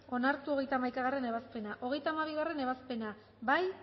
onartu hogeita hamaikagarrena ebazpena hogeita hamabigarrena ebazpena bozkatu